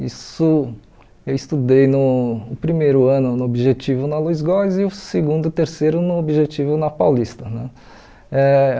Isso eu estudei no primeiro ano no Objetivo na Luiz Góes e o segundo e terceiro no Objetivo na Paulista né. Eh